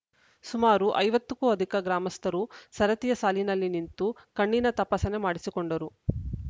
ಸುಮಾರು ಐವತ್ತ ಕ್ಕೂ ಅಧಿಕ ಗ್ರಾಮಸ್ಥರು ಸರತಿಯ ಸಾಲಿನಲ್ಲಿ ನಿಂತು ಕಣ್ಣಿನ ತಪಾಸಣೆ ಮಾಡಿಸಿಕೊಂಡರು